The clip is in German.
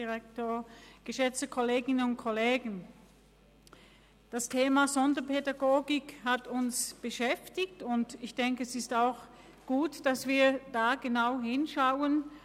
Das Thema Sonderpädagogik hat uns beschäftigt, und es ist gut, wenn wir da genauer hinschauen.